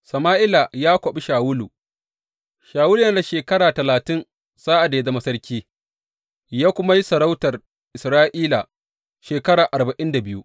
Sama’ila ya kwaɓi Shawulu Shawulu yana da shekara talatin sa’ad da ya zama sarki, ya kuma yi sarautar Isra’ila shekara arba’in da biyu.